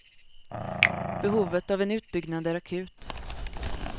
Behovet av en utbyggnad är akut.